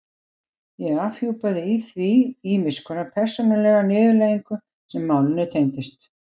Ég afhjúpaði í því ýmiss konar persónulega niðurlægingu sem málinu tengdist.